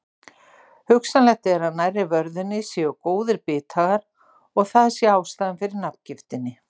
Hugsanlegt er að nærri vörðunni séu góðir bithagar og að það sé ástæðan fyrir nafngiftinni.